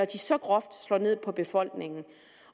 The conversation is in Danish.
de så groft slår ned på befolkningen